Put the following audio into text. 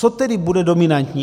Co tedy bude dominantní?